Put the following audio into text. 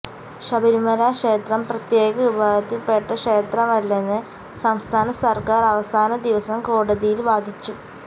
ശബരിമലക്ഷേത്രം പ്രത്യേക വിഭാഗത്തിൽപ്പെട്ട ക്ഷേത്രമല്ലെന്ന് സംസ്ഥാന സര്ക്കാര് അവസാന ദിവസം കോടതിയിൽ വാദിച്ചു